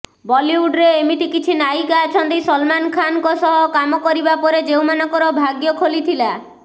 ବଲିଉଡରେ ଏମିତି କିଛି ନାୟିକା ଅଛନ୍ତି ସଲମାନ୍ ଖାନ୍ଙ୍କ ସହ କାମ କରିବା ପରେ ଯେଉଁମାନଙ୍କର ଭାଗ୍ୟ ଖୋଲିଥିଲା